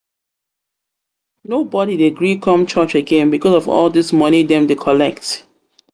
nobodi dey gree come church again because of all dese moni dem dey collect.